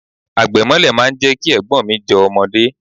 Àgbẹ̀ mọ́lẹ̀ máa ń jẹ́ kí Ẹ̀gbọ́n mi jọ ọmọdé.